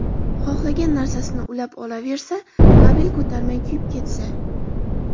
Xohlagan narsasini ulab olaversa, kabel ko‘tarmay kuyib ketsa.